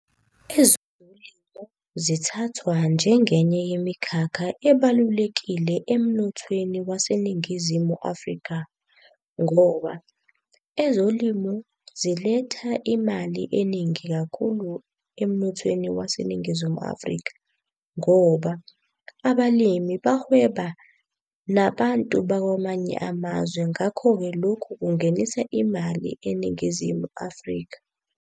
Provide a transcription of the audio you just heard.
Ezolimo zithathwa njengenye yemikhakha ebalulekile emnothweni waseNingizimu Afrika. Ngoba ezolimo ziletha imali eningi kakhulu emnothweni waseNingizimu Afrika. Ngoba abalimi bahweba nabantu bakwamanye amazwe ngakho-ke lokhu kungenisa imali eNingizimu Afrika.